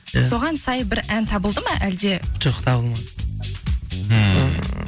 иә соған сай бір ән табылды ма әлде жоқ табылмады ммм